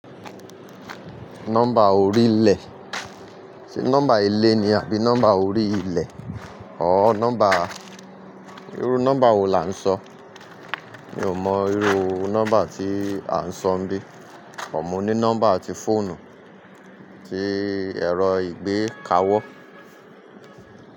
Nọ́mbà orílẹ̀. Ṣé nọ́mbà ilé ni àbí nọ́mbà orí ilẹ̀? Ọ nọ́mbà, irú nọ́mbà wo là ń sọ? Mi ò mọ irú nọ́mbà tí à ń sọ ńbí. But mo ní nọ́mbà ti fóònù tí ẹ̀rọ ìgbé kawó.